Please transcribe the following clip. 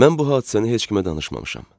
Mən bu hadisəni heç kimə danışmamışam.